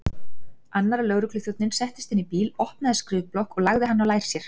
Annar lögregluþjónninn settist inn í bíl, opnaði skrifblokk og lagði hana á lær sér.